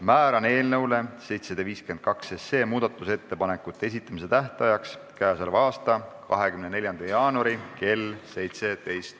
Määran eelnõu 752 muudatusettepanekute esitamise tähtajaks k.a 24. jaanuari kell 17.